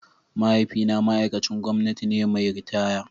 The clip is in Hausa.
Mahaifina ma'aikacin gwamnati ne mai ritaya.